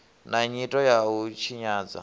na nyito ya u tshinyadza